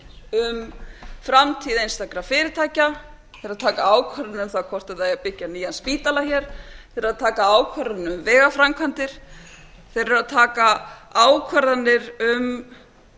um framtíð einstakra fyrirtækja eru að taka ákvarðanir um hvort eigi að byggja nýjan spítala þeir eru að taka ákvarðanir um vegaframkvæmdir þeir eru að taka ákvarðanir um